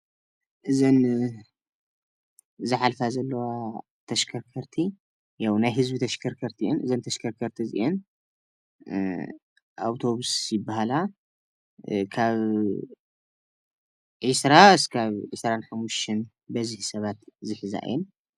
እዘን ዝሓልፋ ዘለዋ ተሽከርከርቲ ናይ ህዝቢ ተሽከርከርቲ እየን እዘን ተሽከርከርቲ እዚየን ኣውቶቡስ ይባሃላ፣ ካብ ዒስራ ክሳብ ዒስራን ሓሙሽተን በዝሒ ሰባት ዝሕዛ እየን፡፡